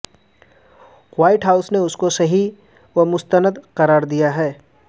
white house نے اس کو صحیح و مستند قرار دیا ہے